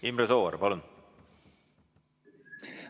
Imre Sooäär, palun!